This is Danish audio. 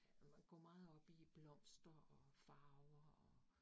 Han går meget op i blomster og farver og